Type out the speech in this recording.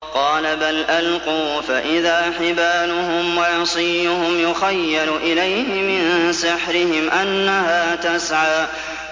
قَالَ بَلْ أَلْقُوا ۖ فَإِذَا حِبَالُهُمْ وَعِصِيُّهُمْ يُخَيَّلُ إِلَيْهِ مِن سِحْرِهِمْ أَنَّهَا تَسْعَىٰ